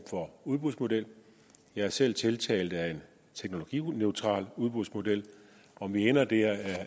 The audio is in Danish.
for udbudsmodel jeg er selv tiltalt af en teknologineutral udbudsmodel om vi ender der